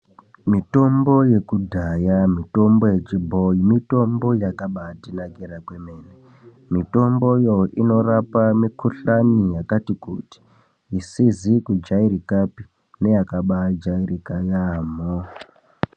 Mitombo yekudhaya, mitombo yechibhoyi mitombo yakabaatinakira kwemene. Mitomboyo inorape mikhuhlani yakati kuti, isizi kujairikapi neyakabaajairika yaamho.